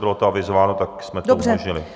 Bylo to avizováno, tak jsme to umožnili.